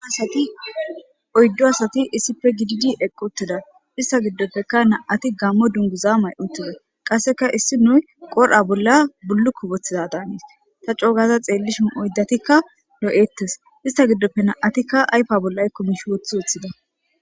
Uasati oyddo asati issife gididi eqqoteda ista giddopfeka na7ati gammo dunguza may7utida qasseka issi nuy qorha bolla bullu ku bothiza daaniis ta coogaza xeellishin oyddatikka doo7ettes ista giddopfe na7atikka aypa bolla ykkomishi woththi woththida.